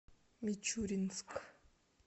мичуринск